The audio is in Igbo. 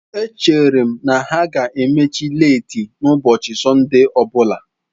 Echere m na ha ga-emechi leeti n'ụbọchị Sọnde ọ bụla.